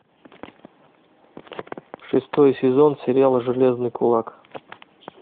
шестой сезон сериала железный кулак